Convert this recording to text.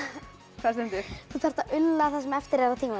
hvað stendur þú þarft að ulla það sem eftir er af tímanum